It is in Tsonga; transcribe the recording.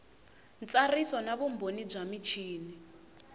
ntsariso na vumbhoni bya michini